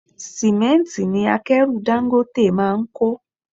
Símẹ́ntì ni akẹ́rù Dangote máa ń kó.